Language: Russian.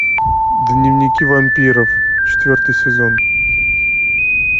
дневники вампиров четвертый сезон